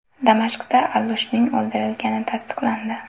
Damashqda Allushning o‘ldirilgani tasdiqlandi.